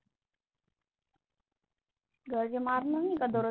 घरचे मारणार नाही का दररोज